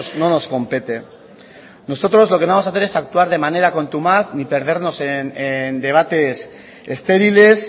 no nos compete nosotros lo que no vamos a hacer es actuar de manera contumaz ni perdernos en debates estériles